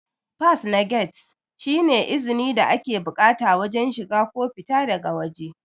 fas na gate shi ne izni da ake bukata wajen shiga ko fita daga wajē